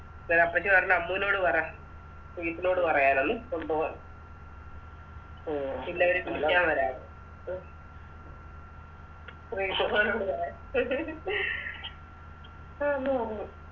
അന്നേരപ്പച്ചി പറഞ്ഞ് അമ്മുനോട് പറ നോട് പറയാനെന്ന് കൊണ്ടോവാൻ പിന്നെ അവര് വിളിക്കാൻ വരാന്ന് ശ്രീതുമോനോട് പറ